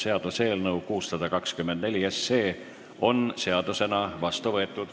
Seaduseelnõu 624 on seadusena vastu võetud.